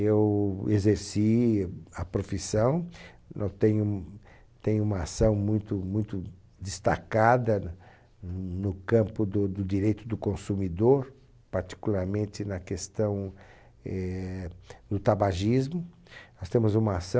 Eu exerci a profissão, eu tenho, tenho uma ação muito muito destacada no campo do do direito do consumidor, particularmente na questão éh do tabagismo, nós temos uma ação